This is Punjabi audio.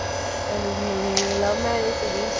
ਨਹੀਂ ਇਹ love marriage ਸੀਗੀ